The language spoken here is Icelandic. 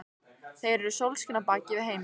Þeir eru sólskinið á bak við heiminn.